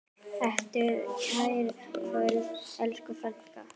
Sértu kært kvödd, elsku frænka.